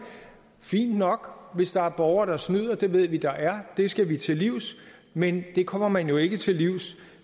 fint nok hvis der er borgere der snyder det ved vi der er det skal vi til livs men det kommer man jo ikke til livs